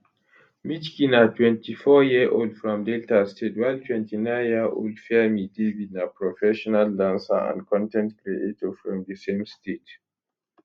michky na 24yearold from delta state while 29yearold fairme david na professional dancer and con ten t creator from di same state